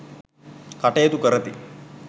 කටයුතු කරති.